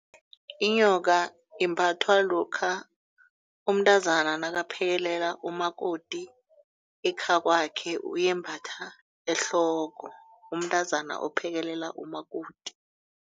Inyoka imbathwa lokha umntazana nakaphekelela umakoti ekhakwakhe uyembatha ehloko umntazana ophekelela umakoti.